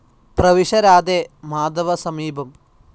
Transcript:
പ്രവിശ രാധേ, മാധവ സമീപം